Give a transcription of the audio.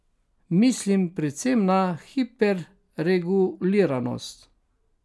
Mislim predvsem na hiperreguliranost.